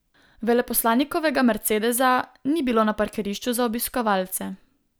Veleposlanikovega mercedesa ni bilo na parkirišču za obiskovalce.